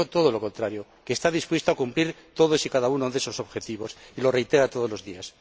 Ha dicho todo lo contrario que está dispuesto a cumplir todos y cada uno de esos objetivos y lo reitera todos los días.